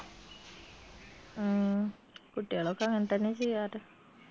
കുട്ടിയാളൊക്കെ അങ്ങൻതന്നെ ചെയ്യാറ്